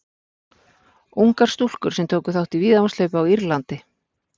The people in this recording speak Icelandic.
ungar stúlkur sem tóku þátt í víðavangshlaupi á írlandi